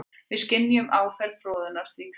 Við skynjum áferð froðunnar því hvíta.